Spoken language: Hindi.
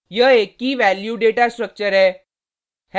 यह एक की/वैल्यू डेटा स्ट्रक्चर है